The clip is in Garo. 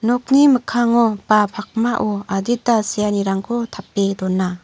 nokni mikkango ba pakmao adita seanirangko tape dona.